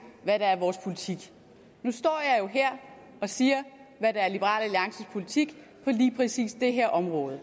hvad der er vores politik nu står jeg jo her og siger hvad der er liberal alliances politik på lige præcis det her område og